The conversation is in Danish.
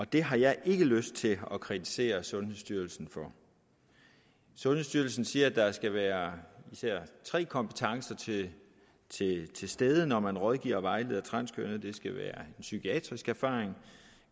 det har jeg ikke lyst til at kritisere sundhedsstyrelsen for sundhedsstyrelsen siger at der skal være især tre kompetencer til stede når man rådgiver og vejleder transkønnede det skal være psykiatrisk erfaring